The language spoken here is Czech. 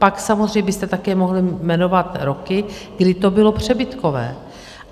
Pak samozřejmě byste také mohl jmenovat roky, kdy to bylo přebytkové.